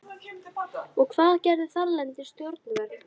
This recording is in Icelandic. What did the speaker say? Og hvað gerðu þarlend stjórnvöld?